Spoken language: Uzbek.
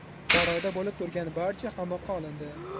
Saroyda bo‘lib turgan barcha qamoqqa olindi.